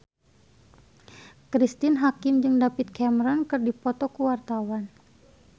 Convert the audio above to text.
Cristine Hakim jeung David Cameron keur dipoto ku wartawan